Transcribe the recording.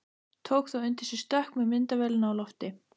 Tók þá undir sig stökk með myndavélina á lofti.